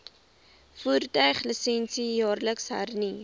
voertuiglisensie jaarliks hernu